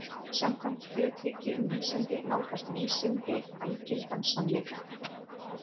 Samkvæmt hluthyggju um vísindi nálgast vísindi algildan sannleika.